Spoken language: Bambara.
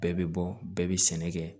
Bɛɛ bɛ bɔ bɛɛ bɛ sɛnɛ kɛ